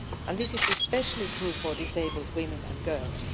This is especially true for disabled women and girls.